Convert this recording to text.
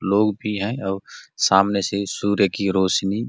लोग भी है और सामने से सूर्य की रोशनी --